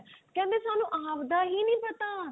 ਕਿਹੰਦੇ ਸਾਨੂੰ ਆਵਦਾ ਹੀ ਨਹੀਂ ਪਤਾ